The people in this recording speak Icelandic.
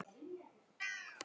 Hjá slíku verður ekki komist.